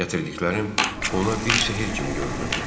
Gətirdiklərim ona bir sehr kimi görünürdü.